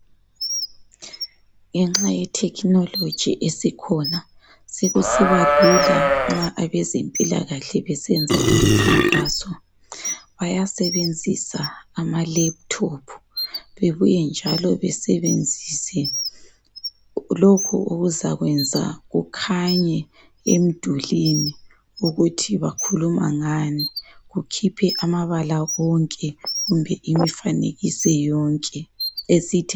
Ngenxa yetechnology esikhona sekusiba Lula nxa abezempilakahle besenza imikhankaso bayasebenzisa ama Laptop bebuye njalo basebenzisa lokhu okuzakwenza kukhanye emdulini ukuthi bakhuluma ngani kukhuphe amabala wonke kumbe imifanekiso yonke esithi